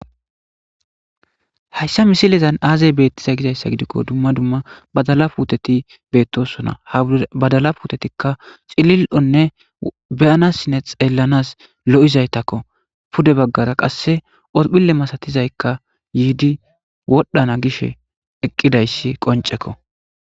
hayssa misilezan aazay beettiza gizayssa gidikko dumma dumma badala puuteti beettosona ha badala puutetikka xilil7onne beyana sine xeellanas lo7izaytakko pude baggara qasse odphile masatizaykka yiidi wodhana gish eqqidayssi qoncekko